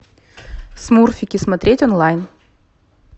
смурфики смотреть онлайн